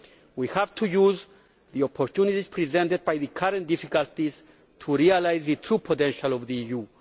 We have to use the opportunities presented by the current difficulties to realise the true potential of the EU.